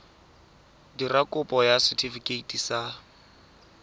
dira kopo ya setefikeiti sa